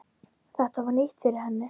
Þetta var nýtt fyrir henni.